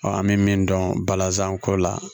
an bɛ min dɔn balazan ko la